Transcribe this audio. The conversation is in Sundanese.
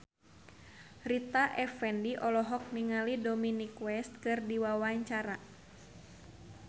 Rita Effendy olohok ningali Dominic West keur diwawancara